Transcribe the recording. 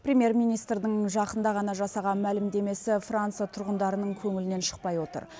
премьер министрдің жақында ғана жасаған мәлімдемесі франция тұрғындарының көңілінен шықпай отыр